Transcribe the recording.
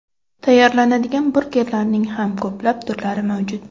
Tayyorlanadigan burgerlarning ham ko‘plab turlari mavjud.